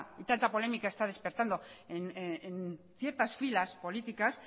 y tanta polémica está despertando en ciertas filas políticas